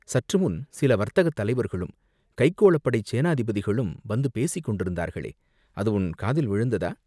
சற்றுமுன் சில வர்த்தகத் தலைவர்களும் கைக்கோளப் படைச் சேநாதிபதிகளும் வந்துபேசிக் கொண்டிருந்தார்களே, அது உன் காதில் விழுந்ததா?